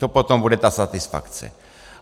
To potom bude ta satisfakce.